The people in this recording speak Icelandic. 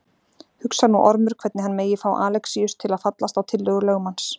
Hugsar nú Ormur hvernig hann megi fá Alexíus til að fallast á tillögur lögmanns.